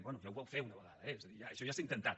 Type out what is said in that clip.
bé ja ho vau fer una vegada eh és a dir això ja s’ha intentat